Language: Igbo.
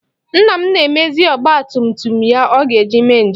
Nna m na-emezi ọgba tum tum ya ọ ga-eji mee njem.